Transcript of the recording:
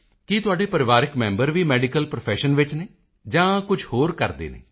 ਕੀ ਤੁਹਾਡੇ ਪਰਿਵਾਰਕ ਮੈਂਬਰ ਵੀ ਮੈਡੀਕਲ ਪ੍ਰੋਫੈਸ਼ਨ ਵਿੱਚ ਹਨ ਜਾਂ ਕੁਝ ਹੋਰ ਕਰਦੇ ਹਨ